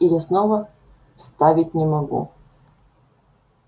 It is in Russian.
я и слова вставить не могу